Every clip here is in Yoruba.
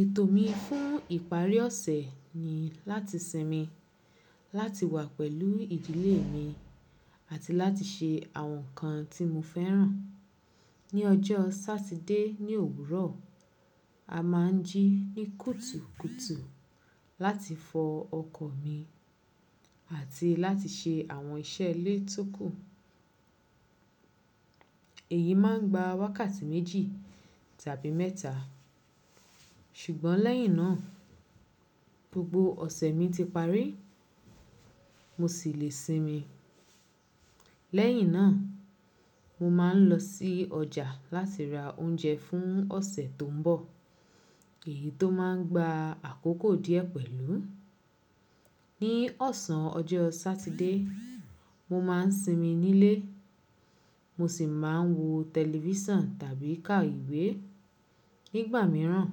Ètò mi fún ìparí ọ̀sẹ̀ ni láti sinmi, láti wà pẹ̀lú ìdílé mi àti láti ṣe àwọn nǹkan tí mo fẹ́ràn. Ni ọjọ́ Satide ní òwúrọ̀, a má ń jí ní kùtùkùtù láti fọ ọkọ̀ mi àti láti ṣe àwọn iṣẹ́ ilé tókù. Èyí má ń gba wákàtí méjì tàbí mẹ́ta, ṣùgbọ́n lẹ́yìn náà gbogbo ọ̀sẹ̀ mi ti parí mo sì le sinmi. Lẹ́yìn náà mo máà ń lọ sí ọjà láti ra oúnjẹ fún ọ̀sẹ̀ tó ń bọ̀ èyí tó má ń gba àkókò díẹ̀ pẹ̀lú. Ni ọ̀sán ọjọ́ Satide, mo má ń sinmi nílé, mo sì má ń wo tẹlifísàn tàbí ká ìwé. Nígbà míràn,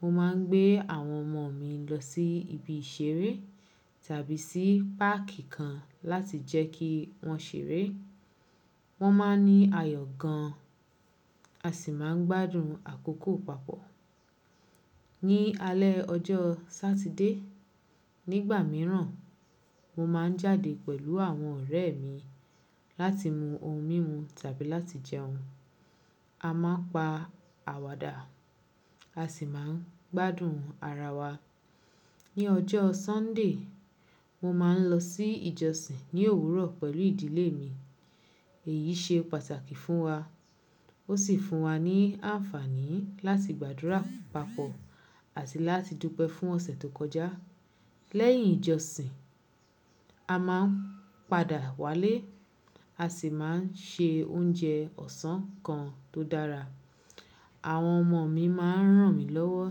mo má ń gbé àwọn ọmọ mi lọ sí ibi ìṣeré tàbí sí páàkì kan láti jẹ́ kí wọ́n ṣeré. Wọ́n má ń ní ayọ̀ gan an a sì má ń gbádùn àkókò papọ̀. Ni alẹ́ ọjọ́ Satide, nígbà míràn, mo máa ń jáde pẹ̀lú àwọn ọ̀rẹ́ mi láti mu ohun mímu tàbí láti jẹun. A má pa àwàdà a sì má ń gbádùn ara wa. Ni ọjọ́ Sọ́ńdè, mo má ń lọ sí ìjọsìn ní òwúrọ̀ pẹ̀lú ìdílé mi. Èyí ṣe pàtàkì fún wa, ó sì fún wa ní àǹfààní láti gbàdúrà papọ̀ àti láti dúpẹ́ fún ọ̀sẹ̀ tó kọjá. Lẹ́yìn ìjọsìn, a má ń padà wálé a sì má ń ṣe oúnjẹ ọ̀sán kan tó dára. Àwọn ọmọ mi má ń ràn mí lọ́wọ́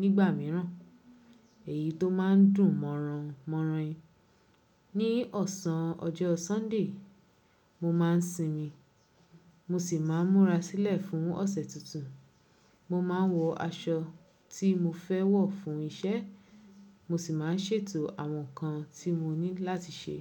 nígbà míràn èyí tó má ń dùn mọ́ran mọ́ran ni. Ni ọ̀sán ọjọ́ Sọ́ńdè, mo má ń sinmi mo sì má ń múra sílẹ̀ fún ọ̀sẹ̀ tuntun. Mo má ń wọ aṣọ tí mo fẹ́ wọ̀ fún iṣẹ́ mo sì má ń ṣètò àwọn nǹkan tí mo ní láti ṣe.